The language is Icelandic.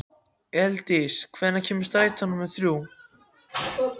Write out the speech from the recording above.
Elíndís, hvenær kemur strætó númer þrjú?